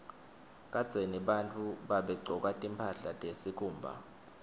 kadzeni bantfu babegcoka timphahla tesikhumba